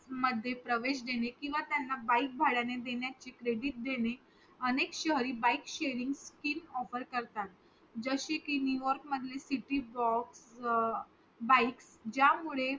मध्ये प्रवेश देणे किंवा bike भांडयाने चे credit देणे अनेक शहरी bike sharing schemeoffer करतात जसे कि नूयोर्क मधले सिटी bike ज्यामुळे